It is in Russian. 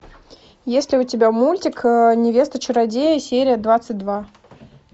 есть ли у тебя мультик невеста чародея серия двадцать два